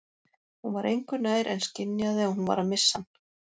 Hún var engu nær en skynjaði að hún var að missa hann.